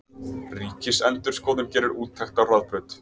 Ríkisendurskoðun gerir úttekt á Hraðbraut